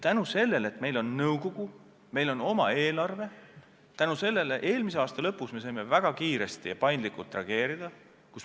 Tänu sellele, et meil on nõukogu, et meil on oma eelarve, saime eelmise aasta lõpus väga kiiresti ja paindlikult reageerida.